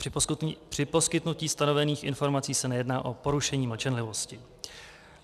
Při poskytnutí stanovených informací se nejedná o porušení mlčenlivosti.